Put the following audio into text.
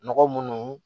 Nɔgɔ munnu